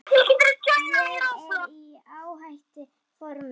Ég er í ágætis formi.